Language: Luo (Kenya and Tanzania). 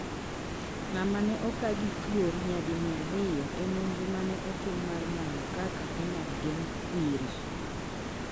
Ng'ama ne oka gi thuol nyadi mia ariyo e nonro ma ne otim mar manyo kaka e nyal geng' kwiri